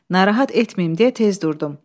Narahat etməyim deyə tez durdum.